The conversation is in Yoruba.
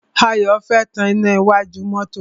Ayọ̀ fẹ́ tan iná iwájú mọ́tọ́.